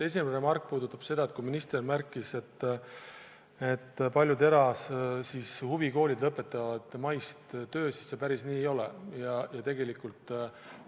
Esimene remark puudutab seda, et minister märkis, et paljud erahuvikoolid lõpetavad töö mais – päris nii see ei ole.